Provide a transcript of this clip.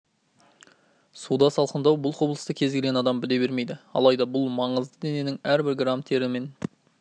суда салқындау бұл құбылысты кез келген адам біле бермейді алайда бұл маңызды денненің әрбір грамм терімен